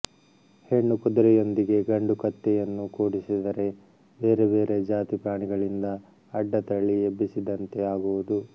ಹೆಣ್ಣು ಕುದುರೆಯೊಂದಿಗೆ ಗಂಡು ಕತ್ತೆಯನ್ನು ಕೂಡಿಸಿದರೆ ಬೇರೆ ಬೇರೆ ಜಾತಿ ಪ್ರಾಣಿಗಳಿಂದ ಅಡ್ಡತಳಿ ಎಬ್ಬಿಸಿದಂತೆ ಆಗುವುದು